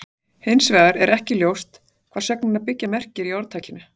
Hins vegar er ekki ljóst hvað sögnin að byggja merkir í orðtakinu.